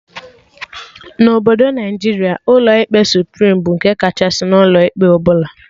Na Obodo Naijiria, ụlọ ikpe Suprim bụ nke kachasị n'ụlọ ikpe ọbụla